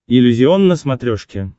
иллюзион на смотрешке